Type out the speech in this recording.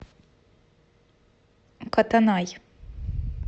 котонай